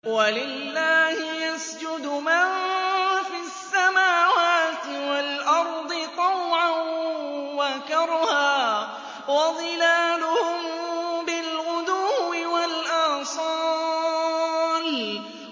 وَلِلَّهِ يَسْجُدُ مَن فِي السَّمَاوَاتِ وَالْأَرْضِ طَوْعًا وَكَرْهًا وَظِلَالُهُم بِالْغُدُوِّ وَالْآصَالِ ۩